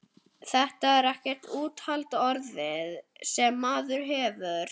Þetta er ekkert úthald orðið, sem maðurinn hefur!